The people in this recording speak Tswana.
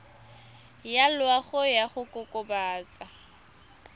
ya loago ya go kokobatsa